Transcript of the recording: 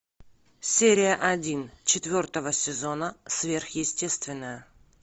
серия один четвертого сезона сверхъестественное